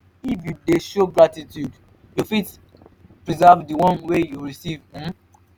if you de show gratitude you fit preserve di one wey you receive um